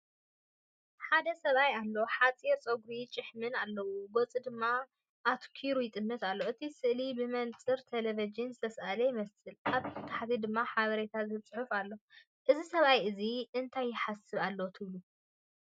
ሓደ ሰብኣይ ኣሎ። ሓጺር ጸጉርን ጭሕምን ኣለዎ፡ ገጹ ድማ ኣተኲሩ ይጥምት ኣሎ። እቲ ስእሊ ብመነጽር ተለቪዥን ዝተሳእለ ይመስል፡ ኣብ ታሕቲ ድማ ሓበሬታ ዝህብ ጽሑፍ ኣሎ። እዚ ሰብኣይ እዚ እንታይ ይሓስብ ኣሎ ትብሉ?